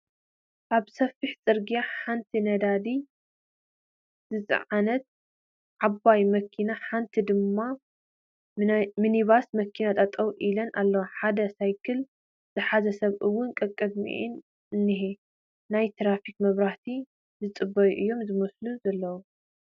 ኣብ ሰፊሕ ፅርግያ ሓንቲ ነዳዲ ዝፀዓነት ዓባይ መኪናን ሓንቲ ድማ ምኒባስ መኪናን ጠጠው ኢለን ኣለዋ፡ ሓደ ሳይክል ዝሓዘ ሰብ 'ውን ቐቕድሚኣን እንሄ ናይ ትራፊክ መብራህቲ ዝፅበዩ'ዮም ዝመስሉ ዘለዉ ።